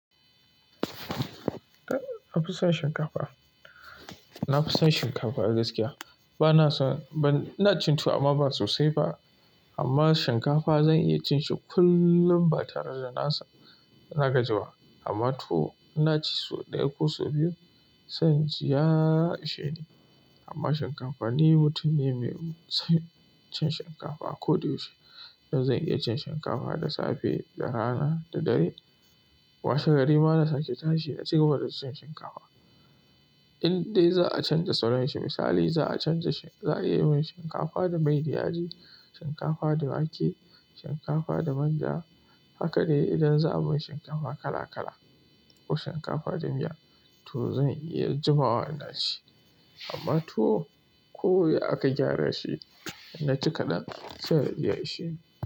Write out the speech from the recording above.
Na fi son shinkafa. Na fi son shinkafa gaskiya. Bana son, ina cin tuwo amma ba sosai ba. Amma shinkafa zan iya cin shi kullum ba tare da naga jiba. Amma tuwo ina ci sau ɗaya ko sau biyu, sai inji ya isheni amma shinkafa ni mutum ne mai son cin shinkafa kodayaushe. Zan iya cin shinkafa da safe da rana daddare. Washe gari mana sake tashi na cigaba da cin shinkafa. In dai za'a canja salon shi, misali za'a canza za'a iya yi min shinkafa da mai da yaji, shinkafa da wake, shinkafa da manja, haka dai idan za'a min shinkafa kala kala ko shinkafa da miya, to zan iya jimawa da shi. Amma tuwo ko ya aka gyara shi, na ci kadan se inji ya isheni.